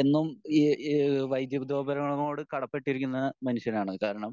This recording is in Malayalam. എന്നും ഈ ഈഹ് വൈദ്യതോപകരണങ്ങളോട് കടപ്പെട്ടിരിക്കുന്ന മനുഷ്യനാണ് കാരണം